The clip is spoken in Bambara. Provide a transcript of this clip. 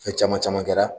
Fɛn caman caman kɛra